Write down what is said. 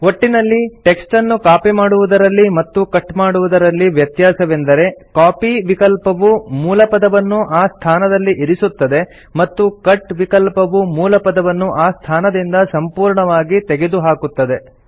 ಒಟ್ಟಿನಲ್ಲಿ ಟೆಕ್ಸ್ಟನ್ನು ಕಾಪಿ ಮಾಡುವುದರಲ್ಲಿ ಮತ್ತು ಕಟ್ ಮಾಡುವುದರಲ್ಲಿ ವ್ಯತ್ಯಾಸವೆಂದರೆ ಕಾಪಿ ವಿಕಲ್ಪವು ಮೂಲಪದವನ್ನು ಆ ಸ್ಥಾನದಲ್ಲಿ ಇರಿಸುತ್ತದೆ ಮತ್ತು ಕಟ್ ವಿಕಲ್ಪವು ಮೂಲಪದವನ್ನು ಆ ಸ್ಥಾನದಿಂದ ಸಂಪೂರ್ಣವಾಗಿ ತೆಗೆದುಹಾಕುತ್ತದೆ